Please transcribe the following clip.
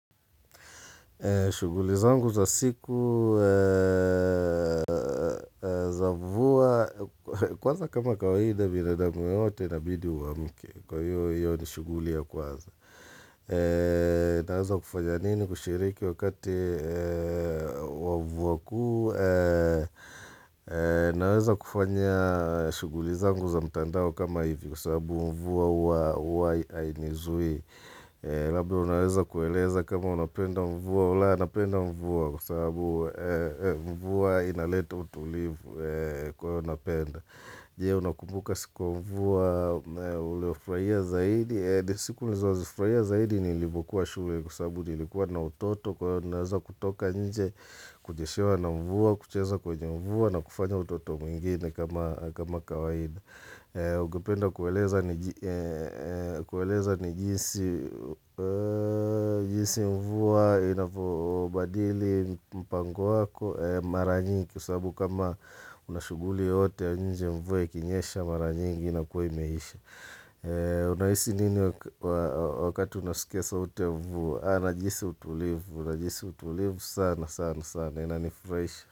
Shughuli zangu za siku za mvua kwanza kama kawaida binadamu yeyote inabidi uamke. Kwa hivyo hiyo ni shughuli ya kwanza. Naweza kufanya nini kushiriki wakati wa mvua kuu. Naweza kufanya shughuli zangu za mtandao kama hivi kwa sababu mvua huwa huwa hainizuii. Labda unaweza kueleza kama unapenda mvua. Napenda mvua kwa sababu mvua inaleta utulivu kwa hiyo napenda. Je, unakumbuka siku ya mvua uliofurahia zaidi? Siku nilizozifurahia zaidi ni nilipokuwa shule kwa sababu nilikuwa na utoto kwa hivyo naweza kutoka nje Kunyeshewa na mvua, kucheza kwenye mvua na kufanya utoto mwingine kama kama kawaida. Ukipenda kueleza ni jinsi mvua inavyobadili mpango wako? Mara nyingi kwa sababu kama una shughuli yoyote ya nje mvua ikinyesha mara nyingi inakuwa imeisha Unahisi nini wakati unasikia sauti ya mvua? Najihisi utulivu, najihisi utulivu sana sana sana inanifurahisha.